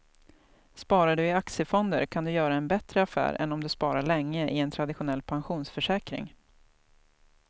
Sparar du i aktiefonder kan du göra en bättre affär än om du sparar länge i en traditionell pensionsförsäkring.